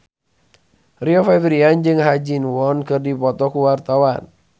Rio Febrian jeung Ha Ji Won keur dipoto ku wartawan